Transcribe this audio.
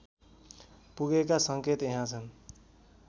पुगेका सङ्केत यहाँ छन्